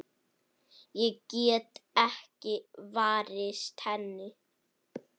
Ég get ekki varist henni.